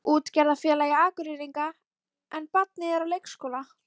Útgerðarfélagi Akureyringa, en barnið er á leikskóla.